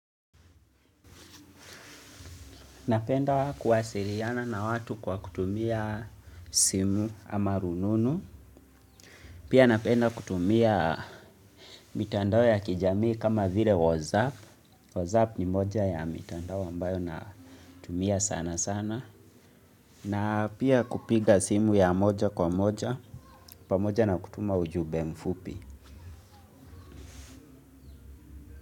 Napenda kuwasiliana na watu kwa kutumia simu ama rununu. Pia napenda kutumia mitandao ya kijamii kama vile wasap. Wasap ni moja ya mitandao ambayo na tumia sana sana. Na pia kupiga simu ya moja kwa moja. Pamoja na kutuma ujumbe mfupi.